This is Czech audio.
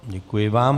Děkuji vám.